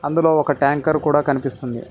ఇందులో ఒక ట్యాంకర్ కూడా కనిపిస్తుంది.